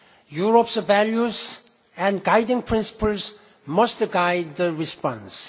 Europe's values and guiding principles must guide the response.